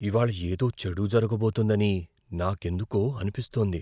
ఇవాళ్ళ ఏదో చెడు జరగబోతోందని నాకెందుకో అనిపిస్తోంది.